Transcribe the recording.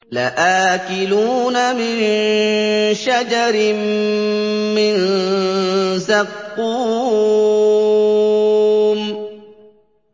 لَآكِلُونَ مِن شَجَرٍ مِّن زَقُّومٍ